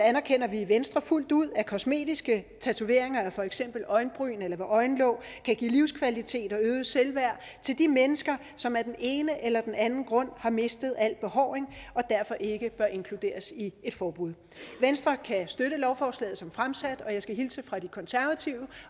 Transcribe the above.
anerkender vi i venstre fuldt ud at kosmetiske tatoveringer af for eksempel øjenbryn eller ved øjenlåg kan give livskvalitet og øget selvværd til de mennesker som af den ene eller den anden grund har mistet al behåring og derfor ikke bør inkluderes i et forbud venstre kan støtte lovforslaget som fremsat og jeg skal hilse fra de konservative